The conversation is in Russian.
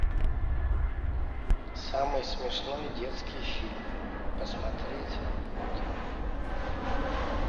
самый смешной детский фильм посмотреть утром